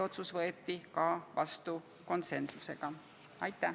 Aitäh!